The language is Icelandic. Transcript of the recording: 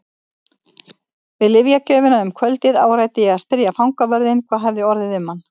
Við lyfjagjöfina um kvöldið áræddi ég að spyrja fangavörðinn hvað orðið hefði um hann.